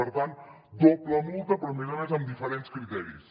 per tant doble multa però a més a més amb diferents criteris